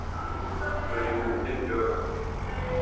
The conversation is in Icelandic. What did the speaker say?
Heimir Már: Nei, heldur þú að það takist?